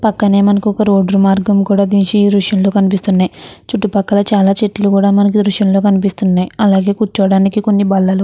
పక్కనే మనకి రోడ్డు మార్గం కూడా ఈ దృశ్యంలో కనిపిస్తూ ఉన్నది. చుట్టుపక్కల చాలా చెట్లు కూడా మనకి దృశ్యం లో కనిపిస్తున్నాయి. అలాగే కూర్చోడానికి కొన్ని బల్లలు --